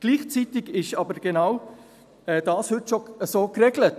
Gleichzeitig ist aber genau das heute schon so geregelt.